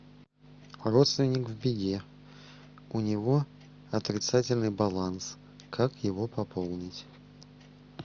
родственник в беде у него отрицательный баланс как его пополнить